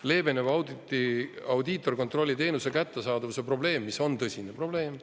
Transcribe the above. Leeveneb audiitorkontrolli teenuse kättesaadavuse probleem, mis on tõsine probleem.